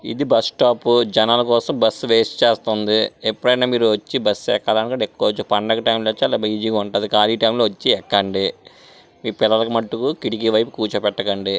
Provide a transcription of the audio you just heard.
ఇది బస్టాప్ జనాల కోసం బస్సు వేస్ట్ చేస్తఉంది ఎప్పుడైనా మీరు వచ్చి మీరు బస్సు ఎక్కాలి అనుకుంటే ఎక్కచ్చు పండగ టైం లో చాలా బిజీ గా ఉంటది ఖాళీ టైం లో వచ్చి ఎక్కండి మీ పిల్లల మట్టుకు కిటికీ వైపు కూర్చోబెట్టకండి.